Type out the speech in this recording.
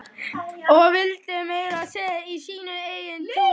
Og villtist meira að segja í sínu eigin túni.